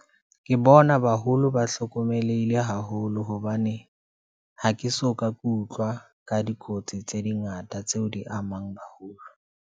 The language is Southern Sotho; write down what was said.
Ke bona baholo ba hlokomelehile haholo, hobane ha ke soka ke utlwa ka dikotsi tse dingata, tseo di amang baholo.